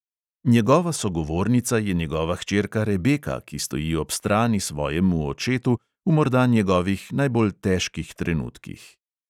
Njegova sogovornica je njegova hčerka rebeka, ki stoji ob strani svojemu očetu v morda njegovih najbolj težkih trenutkih ...